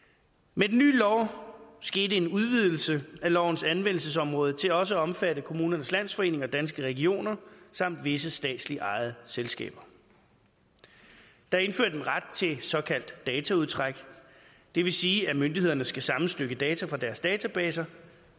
med den nye lov skete der en udvidelse af lovens anvendelsesområde til også at omfatte kommunernes landsforening og danske regioner samt visse statsligt ejede selskaber der er indført en ret til såkaldt dataudtræk det vil sige at myndighederne skal sammenstykke data fra deres databaser